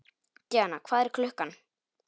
Díanna, hvað er klukkan?